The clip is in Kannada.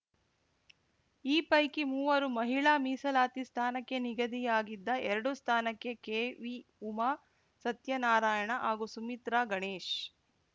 ಈ ಪೈಕಿ ಮೂವರು ಮಹಿಳಾ ಮೀಸಲಾತಿ ಸ್ಥಾನಕ್ಕೆ ನಿಗದಿಯಾಗಿದ್ದ ಎರಡು ಸ್ಥಾನಕ್ಕೆ ಕೆವಿ ಉಮಾ ಸತ್ಯನಾರಾಯಣ ಹಾಗೂ ಸುಮಿತ್ರಾ ಗಣೇಶ್‌